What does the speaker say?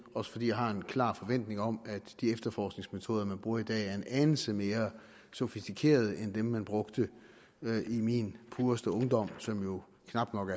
også fordi jeg har en klar forventning om at de efterforskningsmetoder man bruger i dag er en anelse mere sofistikerede end dem man brugte i min pureste ungdom som jo knap nok